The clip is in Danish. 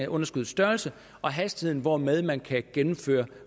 underskuddets størrelse og hastigheden hvormed man kan gennemføre